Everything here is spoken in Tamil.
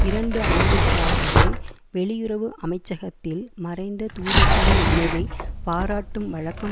இரண்டு ஆண்டுகளாகவே வெளியுறவு அமைச்சகத்தில் மறைந்த தூதர்களின் நினைவை பாராட்டும் வழக்கம்